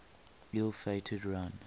ill fated run